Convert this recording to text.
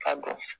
Ka dɔn